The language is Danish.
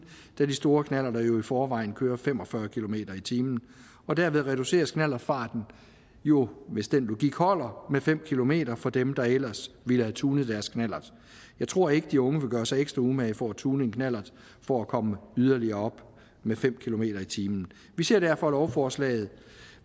da de store knallerter jo i forvejen kører fem og fyrre kilometer per time og derved reduceres knallertfarten jo hvis den logik holder med fem kilometer for dem der ellers ville have tunet deres knallert jeg tror ikke de unge vil gøre sig ekstra umage for at tune en knallert for at komme yderligere op med fem kilometer per time vi ser derfor lovforslaget